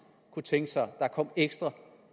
kunne tænke sig der kom ekstra